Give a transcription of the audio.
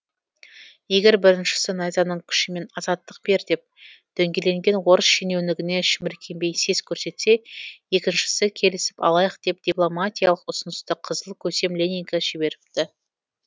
егер біріншісі найзаның күшімен азаттық бер деп дөңгеленген орыс шенеунігіне шіміркенбей сес көрсетсе екіншісі келісіп алайық деп дипломатиялық ұсынысты қызыл көсем ленинге жіберіпті